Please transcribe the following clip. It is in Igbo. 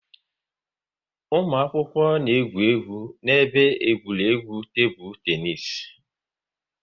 Ụmụ akwụkwọ na-egwu egwu n'ebe egwuregwu tebụl teenis